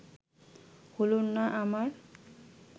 হলো না আমার